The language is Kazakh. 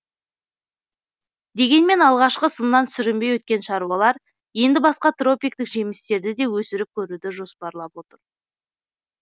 дегенмен алғашқы сыннан сүрінбей өткен шаруалар енді басқа тропиктік жемістерді де өсіріп көруді жоспарлап отыр